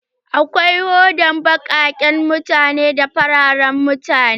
Akwai hodan baƙaken mutane da na fararan mutane.